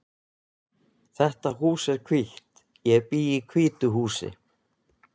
Þetta hús er hvítt. Ég bý í hvítu húsi.